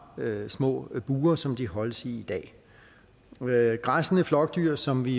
små bure som de holdes i i dag græssende flokdyr som vi